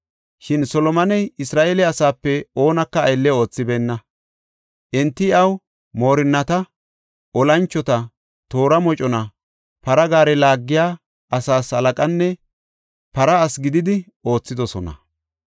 Shin Solomoney Isra7eele asaape oonaka aylle oothibeenna. Enti iyaw moorinnata, olanchota, toora mocona, para gaare laagiya asaas halaqanne para asi gididi oothidosona.